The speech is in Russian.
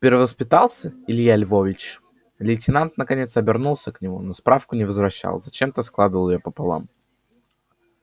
перевоспитался илья львович лейтенант наконец обернулся к нему но справку не возвращал зачем-то складывал её пополам